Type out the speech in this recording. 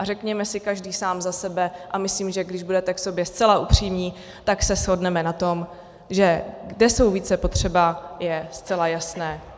A řekněme si každý sám za sebe, a myslím, že když budete k sobě zcela upřímní, tak se shodneme na tom, že kde jsou více potřeba, je zcela jasné.